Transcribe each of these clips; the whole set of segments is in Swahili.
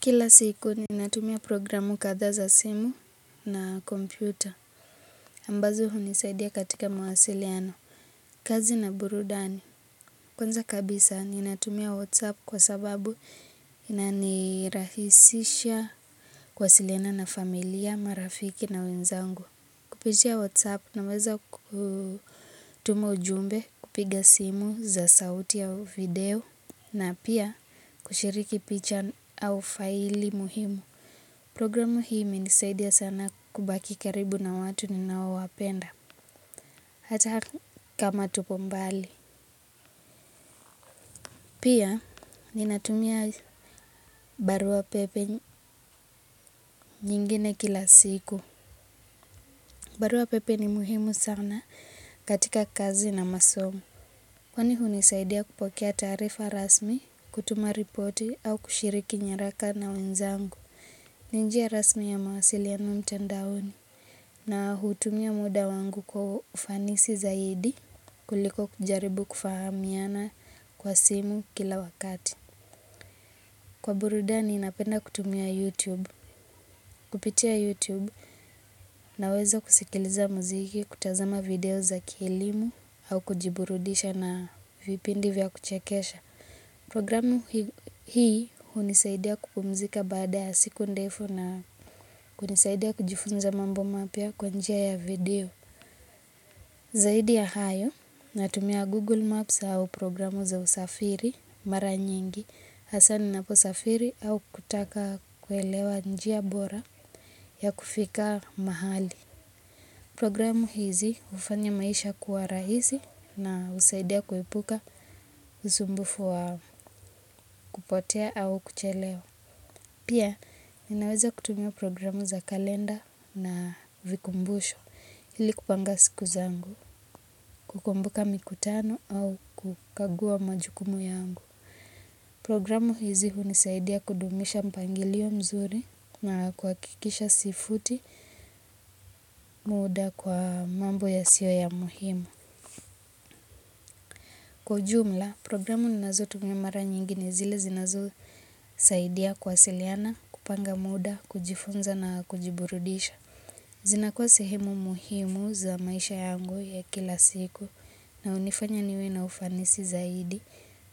Kila siku ninatumia programu kadhaa za simu na kompyuta ambazo hunisaidia katika mawasiliano. Kazi na burudani. Kwanza kabisa ninatumia whatsapp kwa sababu unanirahisisha kuwasiliana na familia, marafiki na wenzangu. Kupitia whatsapp naweza kutuma ujumbe kupiga simu za sauti ya video na pia kushiriki picha au faili muhimu. Programu hii imenisaidia sana kubaki karibu na watu ninao wapenda. Hata kama tupo mbali. Pia ninatumia barua pepe nyingine kila siku. Barua pepe ni muhimu sana katika kazi na masomo. Kwani hunisaidia kupokea taarifa rasmi, kutuma riporti au kushiriki nyaraka na wenzangu. Ni njia rasmi ya mawasiliano mtandaoni. Na hutumia muda wangu kwa ufanisi zaidi kuliko kujaribu kufahamiana kwa simu kila wakati. Kwa burudani napenda kutumia YouTube. Kupitia YouTube naweza kusikiliza muziki, kutazama video za kielimu au kujiburudisha na vipindi vya kuchekesha. Programu hii hunisaidia kupumzika baada ya siku ndefu na kunisaidia kujifunza mambo mapya kwa njia ya video. Zaidi ya hayo, natumia Google Maps au programu za usafiri mara nyingi, hasa ninaposafiri au kutaka kuelewa njia bora ya kufika mahali. Programu hizi hufanya maisha kuwa rahisi na husaidia kuepuka usumbufu wa kupotea au kuchelewa. Pia, ninaweza kutumia programu za kalenda na vikumbusho ili kupanga siku zangu, kukumbuka mikutano au kukagua majukumu yangu. Programu hizi hunisaidia kudumisha mpangilio mzuri na kuhakikisha sifuti muda kwa mambo yasio ya muhimu. Kwa ujumla, programu ninazotumia mara nyingi ni zile zinazosaidia kuwasiliana, kupanga muda, kujifunza na kujiburudisha. Zina kuwa sehemu muhimu za maisha yangu ya kila siku na hunifanya niwe na ufanisi zaidi,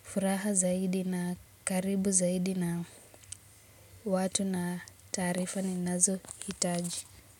furaha zaidi na karibu zaidi na watu na taarifa ninazo hitaji.